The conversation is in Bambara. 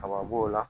Kaba b'o la